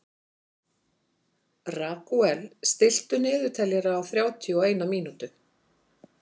Ragúel, stilltu niðurteljara á þrjátíu og eina mínútur.